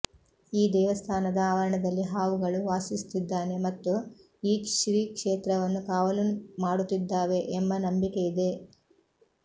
ಈ ದೇವಸ್ಥಾನದ ಆವರಣದಲ್ಲಿ ಹಾವುಗಳು ವಾಸಿಸುತ್ತಿದ್ದಾವೆ ಮತ್ತು ಈ ಶ್ರೀ ಕ್ಷೇತ್ರವನ್ನು ಕಾವಲು ಮಾಡುತ್ತಿದ್ದಾವೆ ಎಂಬ ನಂಬಿಕೆ ಇದೆ